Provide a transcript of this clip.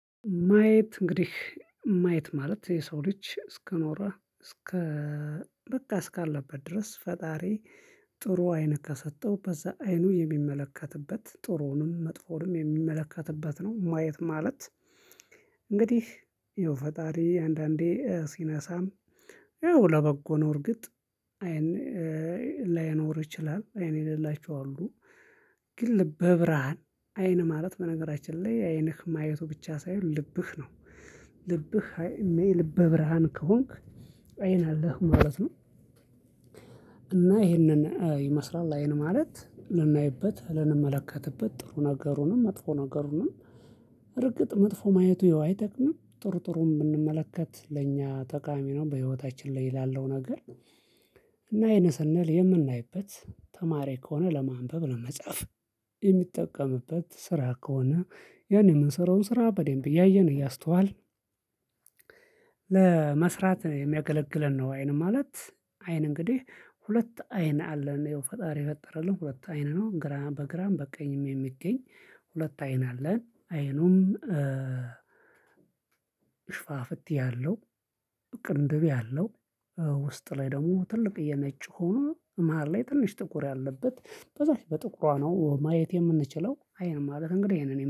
ማየት እንግዲህ ማየት ማለት የሰው ልጅ እስከ ኖረ እስከ በቃ እስካለበት ድረስ ጥሩ አይን ከሰጠው በዛ አይኑ የሚመለከትበት ጥሩዉንም መጥፎዉንም የሚመለከትበት ነው። ማየት ማለት እንግዲህ ይኸው ፈጣሪ አንዳንዴ ሲነሳም ያው ለበጎ ነው። እርግጥ አይን እ ላይኖር ይችላል አይን የሌላቸው አሉ። ግን ልበ ብርሃን አይን ማለት በነገራችን ላይ አይንህ ማየቱ ብቻ ሳይሆን ልብህ ነው። ልብህ የልበ ብርሃን ከሆንክ አይን አለህ ማለት ነው። እና ይህንን ይመስላል አይን ማለት ልናይበት ልንመለከትበት ጥሩ ነገሩንም መጥፎ ነገሩንም። እርግጥ መጥፎ ማየቱ ይኸው አይጠቅምም ጥሩ ጥሩን ብንመለከት ለእኛ ተቃሚ ነው በህይወታችን ላይ ላለው ነገር። እና አይን ስንል የምናይበት ተማሪ ከሆነ ለማንበብ ለመጻፍ የሚጠቀምበት ስራ ከሆነ ያን የምንሰራውን ስራ በደንብ እያየን እያስተዋልን ለመስራት የሚያገለግለን ነው። አይን ማለት አይን እንግዲህ ሁለት አይን አለን ይኸው ፈጣሪ የፈጠረልን ሁለት አይን ነው። በግራም በቃኝም የሚገኝ ሁለት አይን አለን። አይኑን እ ሽፋፍት ያለው ቅንድብ ያለው እ ውስጥ ላይ ደግሞ ትልቅ የነጭ ሆኖ መሃል ላይ ትንሽ ጥቁር ያለበት በዛች በጥቁሯ ነው ማየት የምንችለው አይን ማለት እንግዲህ ይሄንን